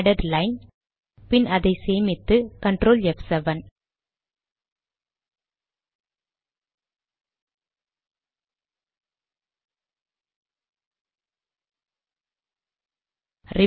added line பின் அதை சேமித்து Ctrl ப்7